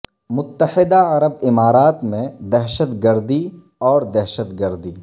متحدہ عرب امارات میں دہشت گردی اور دہشت گردی